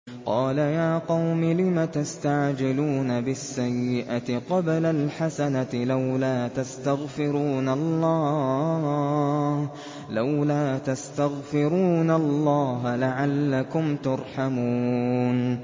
قَالَ يَا قَوْمِ لِمَ تَسْتَعْجِلُونَ بِالسَّيِّئَةِ قَبْلَ الْحَسَنَةِ ۖ لَوْلَا تَسْتَغْفِرُونَ اللَّهَ لَعَلَّكُمْ تُرْحَمُونَ